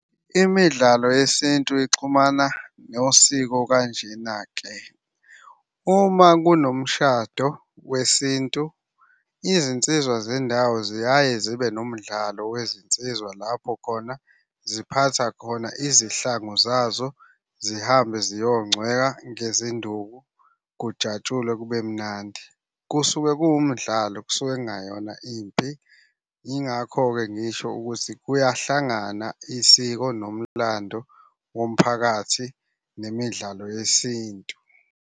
Imidlalo yesintu ixhumana nosiko kanjena-ke. Uma kunomshado wesintu, izinsizwa zendawo ziyaye zibe nomdlalo wezinsiza lapho khona ziphatha khona izihlangu zazo zihambe ziyongcweka ngezinduku kujatshulwe kube mnandi. Kusuke kuwumdlalo, kusuke kungayona impi. Yingakho-ke ngisho ukuthi kuyahlangana isiko nomlando womphakathi nemidlalo yesintu.